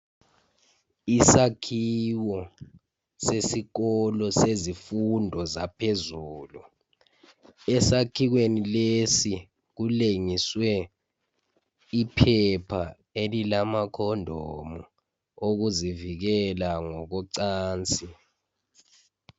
Isakhiwo sesikolo sezifundo ezaphezulu. Esakhiweni lesi, kulengiswe iphepha alamacondom, okuzivikela, ngokocansi.